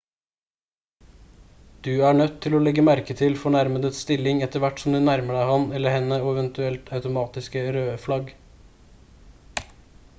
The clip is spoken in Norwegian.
du er nødt til å legge merke til fornærmedes stilling etter hvert som du nærmer deg ham eller henne og eventuelle automatiske røde flagg